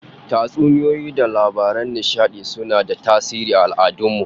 Tatsuniyoyi da labaran nishadi suna da tasiri aal'adun mu